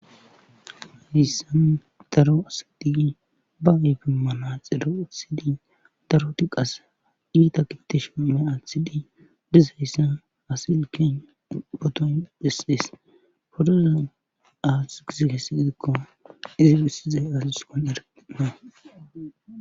hissan daro asidigi ba ybimmana xiro athidi daro ti qas iita kiteshim me aathidi bizayssa asilken poton disiles fordoza aasu gizi hessiy gidikko izi bissizay asiskon erena